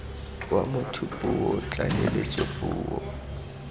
wa motho puo tlaleletso puo